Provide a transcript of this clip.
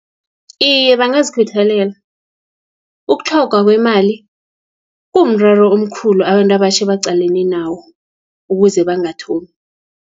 Iye, bangazikhuthalela, ukutlhogwa kwemali, kumraro omkhulu abantu abatjha abaqalene nawo, ukuze bangathomi.